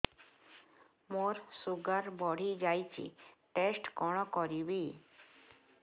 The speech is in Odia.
ମୋର ଶୁଗାର ବଢିଯାଇଛି ଟେଷ୍ଟ କଣ କରିବି